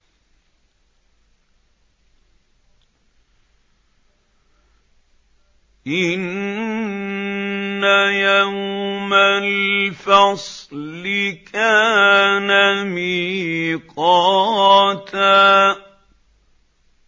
إِنَّ يَوْمَ الْفَصْلِ كَانَ مِيقَاتًا